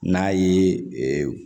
N'a ye